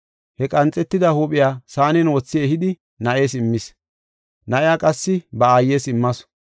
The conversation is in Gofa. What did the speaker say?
He qanxetida huuphiya saanen wothi ehidi na7ees immis. Na7iya qassi ba aayes immasu.